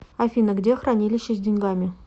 афина где хранилище с деньгами